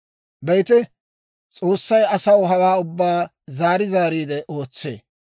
«Be'ite, S'oossay asaw hawaa ubbaa zaari zaariide ootsee;